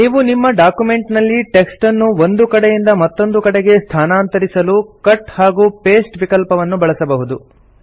ನೀವು ನಿಮ್ಮ ಡಾಕ್ಯುಮೆಂಟ್ ನಲ್ಲಿ ಟೆಕ್ಸ್ಟ್ ಅನ್ನು ಒಂದು ಕಡೆಯಿಂದ ಮತ್ತೊಂದು ಕಡೆಗೆ ಸ್ಥಾನಾಂತರಿಸಲು ಕಟ್ ಹಾಗೂ ಪಾಸ್ಟೆ ವಿಕಲ್ಪವನ್ನು ಬಳಸಬಹುದು